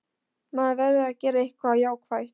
Maður verður að gera eitthvað jákvætt.